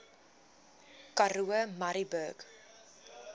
karoo murrayburg